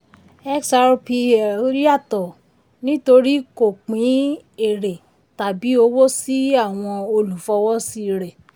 xrpl yàtọ̀ nítorí kò pín èrè tàbí owó sí àwọn olùfọwọ́sí rẹ.